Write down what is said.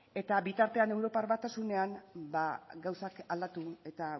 eta bitartean europar batasunean gauzak aldatu eta